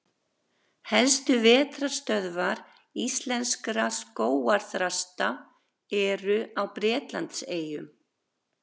Helstu vetrarstöðvar íslenskra skógarþrasta eru á Bretlandseyjum.